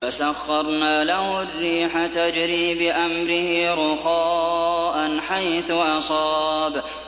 فَسَخَّرْنَا لَهُ الرِّيحَ تَجْرِي بِأَمْرِهِ رُخَاءً حَيْثُ أَصَابَ